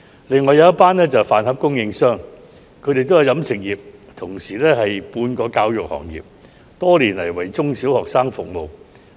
另一群人士是飯盒供應商，他們屬於飲食業界，同時也可算是半個教育行業，多年來為中、小學生服務。